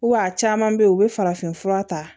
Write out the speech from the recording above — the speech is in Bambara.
a caman bɛ yen u bɛ farafin fura ta